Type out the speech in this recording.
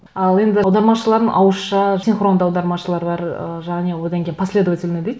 ал енді аудармашылардың ауызша синхронды аудармашылар бар ыыы және одан кейін последовательно дейді